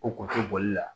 O kun tɛ bɔli la